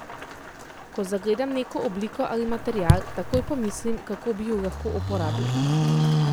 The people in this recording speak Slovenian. Ko zagledam neko obliko ali material, takoj pomislim, kako bi ju lahko uporabil.